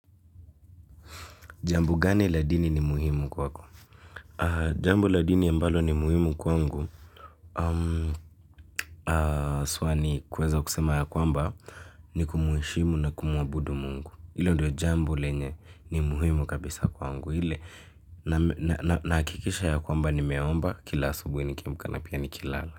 Jambo gani la dini ni muhimu kwa kwa kwa? Jambo la dini mbalo ni muhimu kwangu. Swani kweza kusema ya kwamba ni kumuishimu na kumuabudu mungu. Ile ndiyo jambo lenye ni muhimu kabisa kwangu. Ile naakikisha ya kwamba ni meomba kila asubui ni kiamka na pia ni kilala.